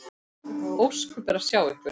Ósköp er að sjá ykkur.